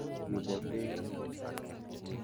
Kebo beek ?